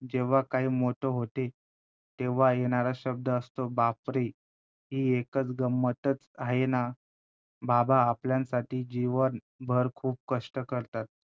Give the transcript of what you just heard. जेव्हा काही मोठं होते तेव्हा येणारा शब्द असतो बाप रे! ही एकच गंमतच आहे ना, बाबा आपल्यांसाठी जीवनभर खूप कष्ट करतात,